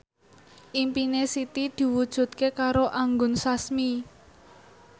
impine Siti diwujudke karo Anggun Sasmi